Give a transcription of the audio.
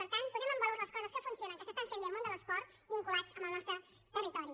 per tant posem en valor les coses que funcionen que s’estan fent bé al món de l’esport vinculades al nostre territori